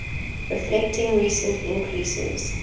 reflecting recent increases